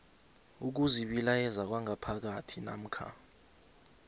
ukuzibilayeza kwangaphakathi namkha